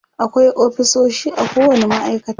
akwai ofisoshi a kowani ma'aikata